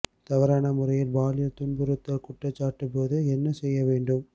தவறான முறையில் பாலியல் துன்புறுத்தல் குற்றச்சாட்டு போது என்ன செய்ய வேண்டும்